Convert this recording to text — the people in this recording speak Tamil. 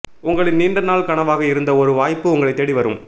உங்களின் நீண்ட நாள் கனவாக இருந்த ஒரு வாய்ப்பு உங்களை தேடி வரும்